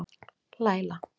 Laila